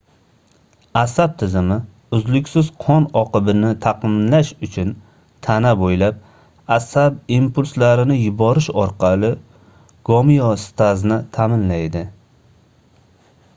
asab tizimi uzluksiz qon oqimini taʼminlash uchun tana boʻylab asab impulslarini yuborish orqali gomeostazni taʼminlaydi